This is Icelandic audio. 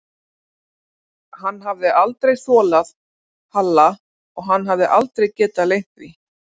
Hann hafði aldrei þolað Halla og hann hafði aldrei getað leynt því.